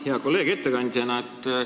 Hea kolleeg ettekandja!